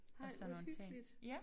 Ej hvor hyggeligt